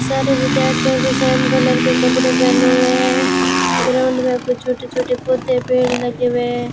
सारे विद्यार्थियों के सेम कलर के कपड़े पहने हुए हैं ग्राउंड में कुछ छोटे छोटे पौधे पेड़ लगे हुए --